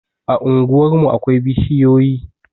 A unguwarmu akwai bishiyoyi